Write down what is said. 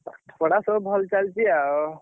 ପଢା ସବୁ ଭଲ ଚାଲିଛି ଆଉ।